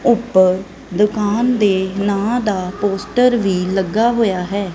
ਉੱਪਰ ਦੁਕਾਨ ਦੇ ਨਾਂ ਦਾ ਪੋਸਟਰ ਵੀ ਲੱਗਾ ਹੋਇਆ ਹੈ।